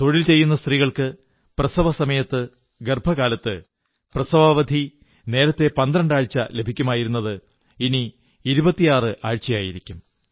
തൊഴിൽ ചെയ്യുന്ന സ്ത്രീകൾക്ക് ഗർഭകാലത്തും പ്രസവസമയത്തും പ്രസവാവധി നേരത്തെ 12 ആഴ്ച ലഭിക്കുമായിരുന്നത് ഇനി 26 ആഴ്ചയായിരിക്കും